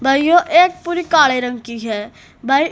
भाइयों एक पूरी काले रंग की है।